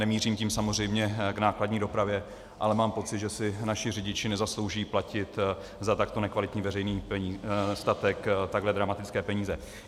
Nemířím tím samozřejmě k nákladní dopravě, ale mám pocit, že si naši řidiči nezaslouží platit za takto nekvalitní veřejný statek takhle dramatické peníze.